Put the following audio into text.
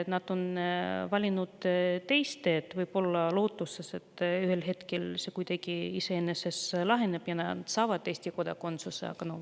Nad on valinud teise tee, võib-olla lootuses, et ühel hetkel see kuidagi iseenesest laheneb ja nad saavad Eesti kodakondsuse.